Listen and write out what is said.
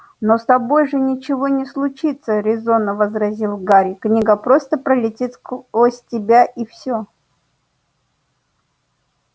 но с тобой же ничего не случится резонно возразил гарри книга просто пролетит сквозь тебя и все